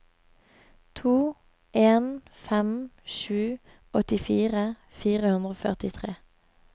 to en fem sju åttifire fire hundre og førtitre